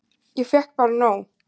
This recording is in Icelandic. Ég fékk bara nóg.